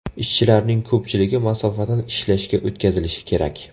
Ishchilarning ko‘pchiligi masofadan ishlashga o‘tkazilishi kerak.